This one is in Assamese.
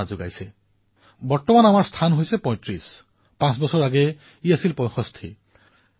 আজি আমাৰ মূল্যাংকন হল চৌত্ৰিশ আৰু পাঁচ বছৰ পূৰ্বে আমাৰ মূল্যাংকন আছিল ৬৫ নম্বৰত অৰ্থাৎ এক বৃহৎ জাঁপ মাৰিবলৈ সমৰ্থ হৈছো